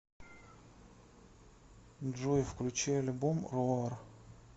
джой включи альбом роар